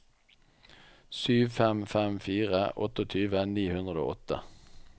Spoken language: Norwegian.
sju fem fem fire tjueåtte ni hundre og åtte